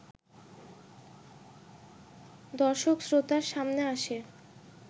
দর্শক-শ্রোতার সামনে আসে